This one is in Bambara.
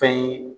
Fɛn ye